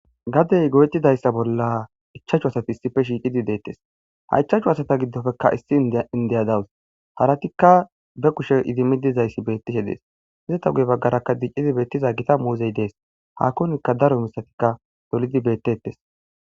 gadey goyettidayss bolla ichachu asati issife shiiqidi deettes. ha ichachu hasata giddofekka issi indiya dawus. haratikka be kushe idimi dizayssi bettishe dees. izeta guye baggarakka diccidi beettiza gita muuzey dees. hakonikka daro mishatikka dolidi beettettes.